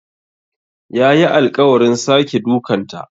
Yayi alƙawarin sake dukanta.